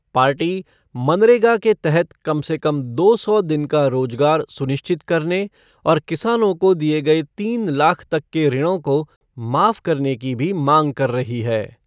Party मरनेगा के तहत कम से कम दो सौ दिन का रोजगार सुनिश्चित करने और किसानों को दिए गए तीन लाख तक के ऋणों को माफ करने की भी मांग कर रही है।